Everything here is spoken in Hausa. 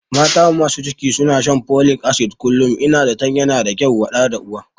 Mata masu ciki suna shan folik asid kullum, Ina zatan yana da kyau wa ɗa da uwa